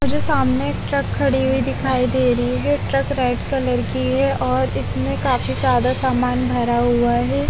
मुझे सामने ट्रक खड़ी हुयी दिखाई दे रही है ट्रक रेड कलर की है और इसमें काफी ज्यादा सामान भरा हुआ है।